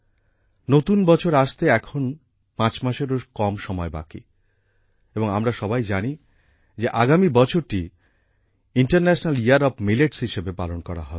নতুন বছর আসতে এখন ৫ মাসেরও কম সময় বাকি এবং আমরা সবাই জানি যে আগামী বছরটি ইন্টারন্যাশনাল ইয়ার ওএফ মিলেটস হিসেবে পালন করা হবে